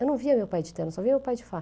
Eu não via meu pai de terno, só via meu pai de